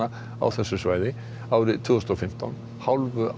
árið tvö þúsund og fimmtán hálfu ári eftir